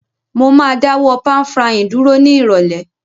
Mo ma dáwó pan-frying dúró ni ìrọ̀lẹ́